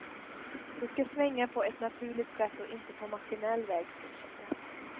Det ska svänga på ett naturligt sätt och inte på maskinell väg, fortsätter han.